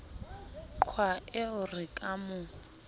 qha eo re ka mo